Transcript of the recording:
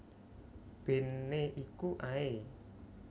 Bene iku ae